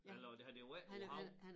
Eller det har det ikke været på æ hav